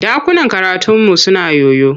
Ɗakunan karataunmu suna yoyo.